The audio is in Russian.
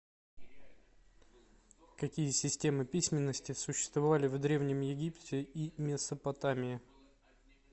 какие системы письменности существовали в древнем египте и месопотамии